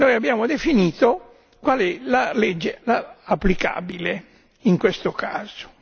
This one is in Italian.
Abbiamo definito qual è la legge applicabile in questo caso.